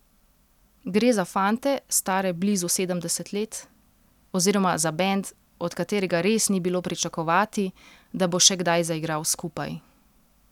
Gre za fante, stare blizu sedemdeset let, oziroma za bend, od katerega res ni bilo pričakovati, da bo še kdaj zaigral skupaj.